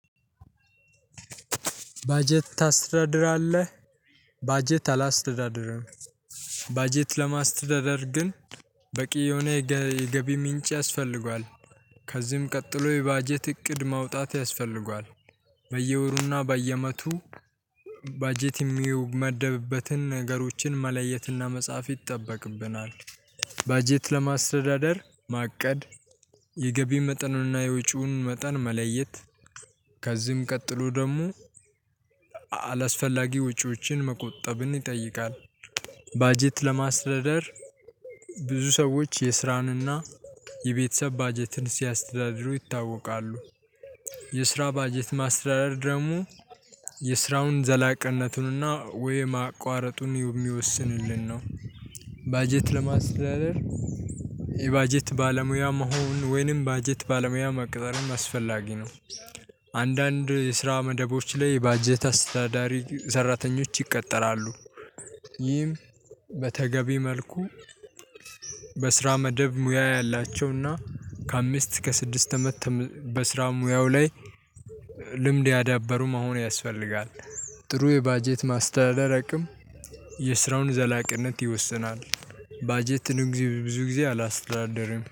ባጀት ታስተዳድራለህ? ባጀት አላስተዳድርም። ባጀት ለማስተዳደር ግን በቂ የሆነ የገቢ ምንጭ ያስፈልጋል። ከዚህም ቀጥሎ የባጀት እቅድ ማውጣት ያስፈልጋል። በየወሩና በያመቱ ባጀት የሚያው መድብበትን ነገሮችን መለየትና መጻፍ ይጠበቅብናል። ባጀት ለማስተዳደር ማቀድ የ ገቢ መጠንና የወጪውን መጠን መለየት። ከዚም ቀጥሎ ደግሞ አላስፈላጊ ወጪዎችን መቆጠብን ይጠይቃል። ባጀት ለማስተዳደር ብዙ ሰዎች የስራን እና የቤተሰብ ባጀትን ሲያስተዳድሩ ይታወቃሉ። የስራ ባጀት ማስተዳደር ደግሞ የስራውን ዘላቅነቱንና ወይ ማቋረጡን የሚወስንልን ነው። ባጀት ለማስተዳደር የባጀት ባለሙያ መሆን ወይንም ባጀት ባለሙያ መቅጠርም አስፈላጊ ነው። አንዳንድ የስራ መደቦች ላይ ባጀት አስተዳዳሪ ሰራተኞች ይቀጠራሉ። ይህም በተገቢ መልኩ በስራ መደብ ሙያ ያላቸውና ከአምስት እስከ ስድስት አመት በስራ ሙያው ላይ ልምድ ያዳበሩ መሆን ያስፈልጋል። ጥሩ የባጀት ማስተዳደር አቅም የስራውን ዘላቂነት ይወስናል። ባጀት ብዙ ጊዜ አላስተዳድርም